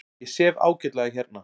Ég sef ágætlega hérna.